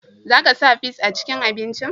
Za ka sa fis a cikin abincin?